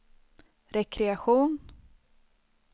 rekreation